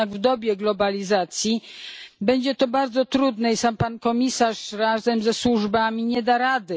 Jednak w dobie globalizacji będzie to bardzo trudne i sam Pan Komisarz razem ze służbami nie da rady.